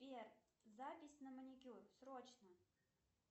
сбер запись на маникюр срочно